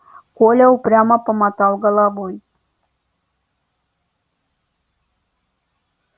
коля упрямо помотал головой